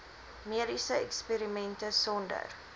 mediese eksperimente sonder